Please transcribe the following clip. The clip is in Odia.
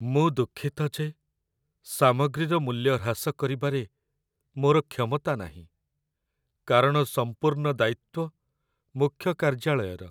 ମୁଁ ଦୁଃଖିତ ଯେ ସାମଗ୍ରୀର ମୂଲ୍ୟ ହ୍ରାସ କରିବାରେ ମୋର କ୍ଷମତା ନାହିଁ, କାରଣ ସମ୍ପୂର୍ଣ୍ଣ ଦାୟିତ୍ଵ ମୁଖ୍ୟକାର୍ଯ୍ୟାଳୟର।